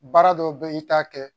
Baara dɔw bɛ ye i t'a kɛ